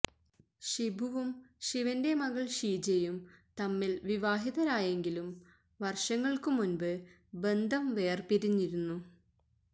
ഷിബുവും ശിവന്റെ മകള് ഷീജയും തമ്മില് വിവാഹിതരായെങ്കിലും വര്ഷങ്ങള്ക്കു മുന്പ് ബന്ധം വേര്പിരിഞ്ഞിരുന്നു